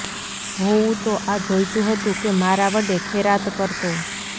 હોવું તો આ જોઈતું હતું કે મારા વડે ખૈરાત કરતો